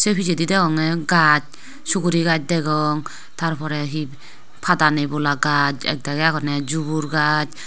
pichedi degongey gaas sugri gaas degong tarporey hi padanei bola gaas ekdagi agonye jubur gaas.